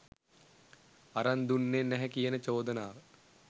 අරන් දුන්නේ නැහැ කියන චෝදනාව.